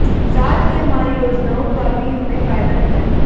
साथ ही हमारी योजनाओं का भी हमें फायदा मिला